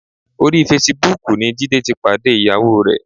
Orí fesibúùkù ni Jídé ti pàdé ìyàwó rẹ̀.